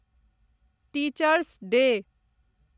teachers day